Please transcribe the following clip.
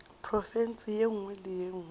profense ye nngwe le ye